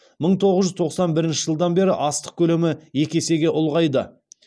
мың тоғыз жүз тоқсан бірінші жылдан бері астық көлемі екі есеге ұлғайды